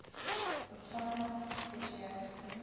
autonomous specialty